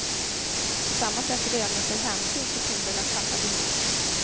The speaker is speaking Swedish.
På samma sätt lönar sig hänsyn till kundernas sanna behov.